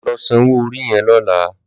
Lò sànwó óri yèn lòlá